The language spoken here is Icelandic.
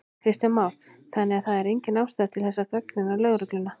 Kristján Már: Þannig að það er engin ástæða til þess að gagnrýna lögregluna?